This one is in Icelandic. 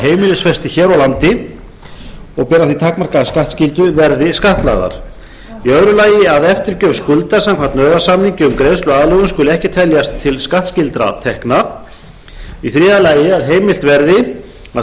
heimilisfesti hér á landi og bera því takmarkaða skattskyldu verði skattlagðar annars að eftirgjöf skulda samkvæmt nauðasamningi um greiðsluaðlögun skuli ekki teljast til skattskyldra tekna þriðja að heimilt verði að